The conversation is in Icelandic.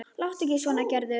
Láttu ekki svona Gerður.